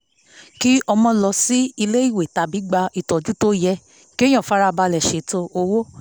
kí ọmọ lọ sílé ìwé tàbí gbà ìtọju ó yẹ kéèyàn fara balẹ̀ ṣètò owó